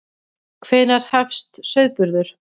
Hvenær hefst sauðburður?